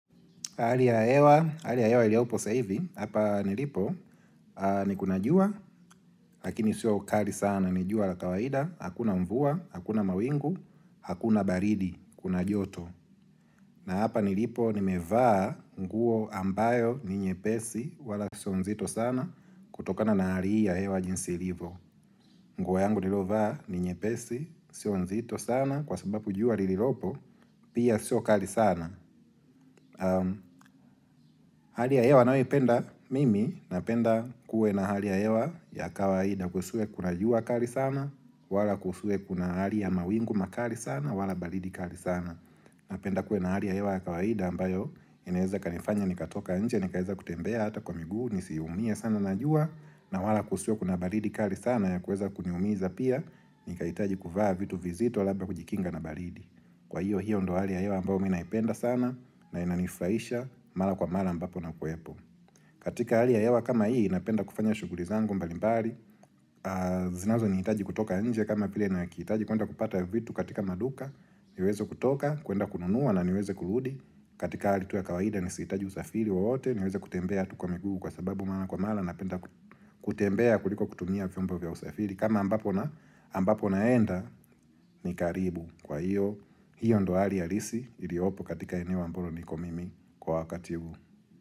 Hali ya hewa iliyopo sasa hivi, hapa nilipo, nikunajua, lakini sio kali sana, nijua la kawaida, hakuna mvua, hakuna mawingu, hakuna baridi, kuna joto. Na hapa nilipo, nimevaa nguo ambayo ninye pesi, wala sionzito sana, kutokana nahali hii ya hewa jinsi ilivyo. Nguo yangu niliyovaa ninye pesi, sionzito sana, kwa sababu jua lililopo, pia sio kali sana. Hali ya hewa ninayo ipenda mimi na penda kuwe na hali ya hewa ya kawaida kusiwe kuna jua kali sana wala kusiwe kuna hali ya mawingu makali sana wala baridi kali sana Napenda kuwe na hali ya hewa ya kawaida ambayo inaweza ikanifanya nikatoka nje nikaweza kutembea hata kwa miguu nisiumie sana najua na wala kusiwe kuna baridi kali sana ya kuweza kuniumiza pia ni kahitaji kuvaa vitu vizito labda kujikinga na baridi Kwa hiyo hiyo ndo hali ya hewa ambayo mimi ninaipenda sana na inanifurahisha mara kwa mara ambapo nakuwepo katika hali ya hewa kama hii napenda kufanya shughuli zangu mbalimbali zinazo nihitaji kutoka nje kama vile nahitaji kuenda kupata vitu katika maduka niweze kutoka kuenda kununua na niweze kurudi katika hali tu ya kawaida nisihitaji usafiri wowote niweze kutembea tuu kwamguu kwasababu mara kwa mara Napenda kutembea kuliko kutumia vyombo vya usafiri kama ambapo naenda ni karibu kwa hiyo hiyo ndo halia halisi iliyopo katika eneo ambalo nikomimi kwa wakati huu.